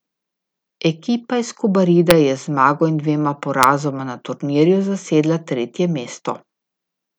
Ekipa iz Kobarida je z zmago in dvema porazoma na turnirju zasedla tretje mesto.